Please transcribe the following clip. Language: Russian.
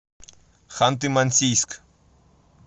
ханты мансийск